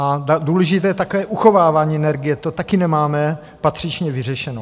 A důležité je také uchovávání energie, to taky nemáme patřičně vyřešení.